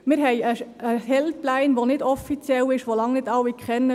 Wir haben eine Helpline, die nicht offiziell ist und die lange nicht alle kennen.